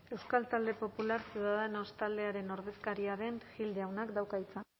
euskal talde popular ciudadanos taldearen ordezkaria den gil jaunak dauka hitza